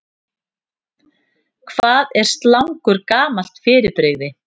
Hvað er slangur gamalt fyrirbrigði?